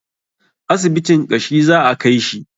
Asibitin ƙashi za a kaishi